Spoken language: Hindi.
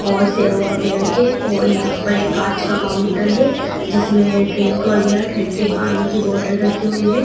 और सेव वगैरह के और यहां पर एक कांच का काउंटर है जिसमें ड्रिंक वगैरह ठंडे पानी की बोटल रखी हुई है।